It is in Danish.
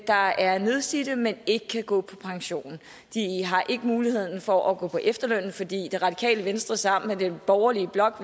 der er nedslidte men ikke kan gå på pension de har ikke muligheden for at gå på efterløn fordi det radikale venstre sammen med den borgerlige blok